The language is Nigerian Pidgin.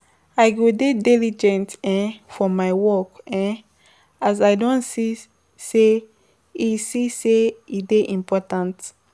I go dey diligent um for my work um as I don see sey e see sey e dey important.